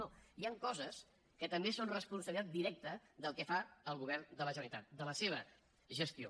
no hi han coses que també són responsabilitat directa del que fa el govern de la generalitat de la seva gestió